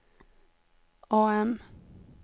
AM